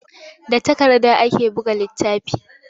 Da takarda ake buga littafi.